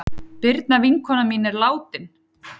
Birna vinkona mín er látin.